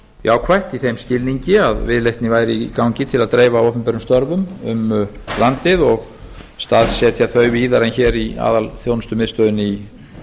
jákvætt í þeim skilningi að viðleitni væri í gangi til að dreifa opinberum störfum um landið og staðsetja þau víðar en hér í aðalþjónustumiðstöðinni í